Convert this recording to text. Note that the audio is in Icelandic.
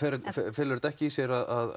felur þetta ekki í sér að